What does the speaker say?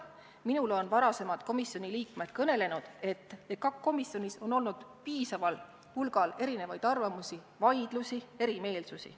Minule on varasemad komisjoni liikmed kõnelenud, et EKAK-i komisjonis on olnud piisaval hulgal erinevaid arvamusi, vaidlusi, erimeelsusi.